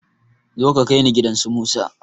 Zo ka kaini gidan su musa